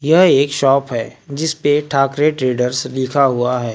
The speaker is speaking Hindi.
यह एक शॉप है जिस पे ठाकरे ट्रेडर्स लिखा हुआ है।